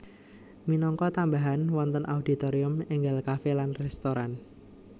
Minangka tambahan wonten auditorium énggal kafe lan restoran